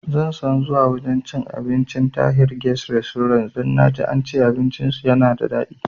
Inason zuwa wajan cin abincin Tahir guest restaurant don naji ance abinci su yana da dadi